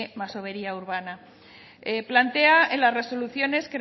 masovería urbana plantea en las resolución que